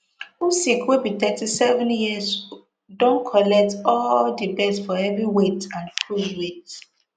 usyk wey be thirty-seven years don collect all di belts for heavyweight and cruiserweight